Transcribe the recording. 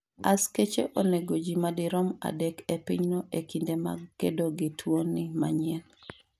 askache onego jii madirom adek e pinyno e kinde mag kedo gi tuo ni manyien